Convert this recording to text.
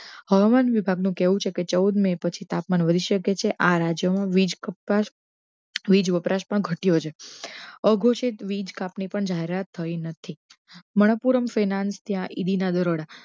હવામાન વિભાગ નો કહેવુ છે કે ચોઉદ મે પછી તાપમાન વધી શકે છે આ રાજયો મા બીજ વપરાશ પણ ઘટ્ય઼ો છે અઘોષિત વીજ કાપ ની પણ જાહેરાત થઈ નથી, મહાપૂરમ ફાઈનાન્સ ત્યા